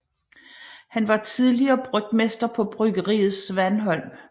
Han var tidligere brygmester på Bryggeriet Svanholm